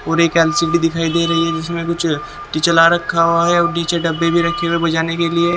और एक एल_सी_डी दिखाई दे रही है जिसमें कुछ किचला रखा हुआ है और नीचे डब्बे भी रखे हैं बुझाने के लिए।